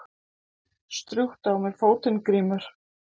Strjúktu á mér fótinn Grímur.